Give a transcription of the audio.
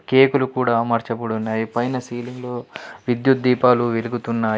కేకులు కూడా అమర్చబడి ఉన్నాయి. పైన సీలింగ్లో విద్యుత్ దీపాలు వెలుగుతున్నాయి.